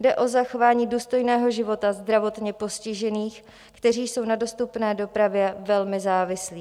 Jde o zachování důstojného života zdravotně postižených, kteří jsou na dostupné dopravě velmi závislí.